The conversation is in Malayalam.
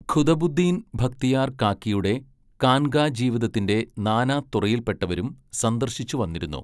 ഖുതബുദ്ദീൻ ബക്തിയാർ കാക്കിയുടെ കാൻങ്ക ജീവിതത്തിന്റെ നാനാ തുറയിൽ പെട്ടവരും സന്ദർശിച്ചു വന്നിരുന്നു.